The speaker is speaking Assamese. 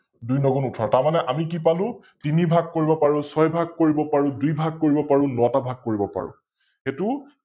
দুই ন গুণ উঠৰ, তাৰমানে আমি কি পালো তিনি ভাগ কৰিব পাৰো ছয় ভাগ কৰিব পাৰো দুই ভাগ কৰিব পাৰো নটা ভাগ কৰিব পাৰো । এইতো